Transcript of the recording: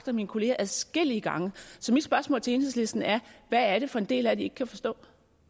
af mine kolleger adskillige gange så mit spørgsmål til enhedslisten er hvad er det for en del af det i ikke kan forstå